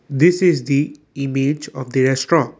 this is the image of the restaurant.